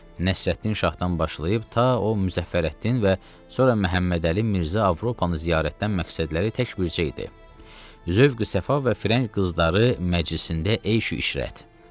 Nəsrəddin şahdan başlayıb ta o Müzəffərəddin və sonra Məhəmmədəli Mirzə Avropanı ziyarətdən məqsədləri tək bircə idi: Zövqü səfa və firəng qızları məclisində eyşu işrət.